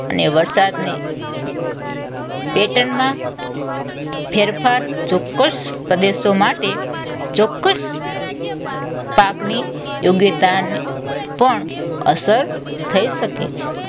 અને વરસાદને pattern માં ફેરફાર ચોક્કસ પ્રદેશો માટે ચોક્કસ પાકની યોગ્યતાને પણ અસર થઈ શકે છે.